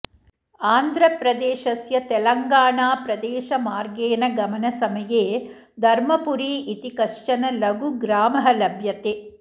आन्ध्रप्रदेशस्य तेलङ्गाणाप्रदेशमार्गेन गमनसमये धर्मपुरी इति कश्चन लघुग्रामः लभ्यते